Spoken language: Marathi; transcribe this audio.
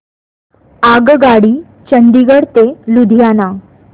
आगगाडी चंदिगड ते लुधियाना